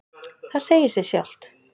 Það segir sig sjálft.